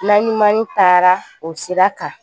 Naɲumani taara o sira kan